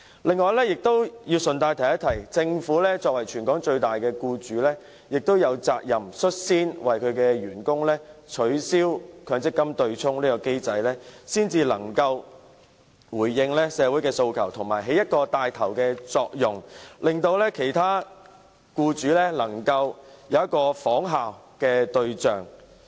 此外，我要順帶提出，政府作為全港最大僱主，亦有責任率先為其員工取消強積金對沖機制，才能回應社會訴求，同時發揮牽頭作用，作為其他僱主的仿效對象。